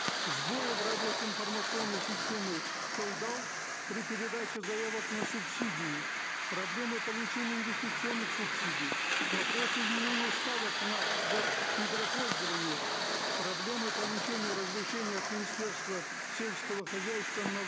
сбои в работе информационной системы қолдау при передаче заявок на субсидии проблемы получения инвестиционных субсидий вопросы изменения ставок за недропользование проблемы получения разрешения от министерства селького хозяйства на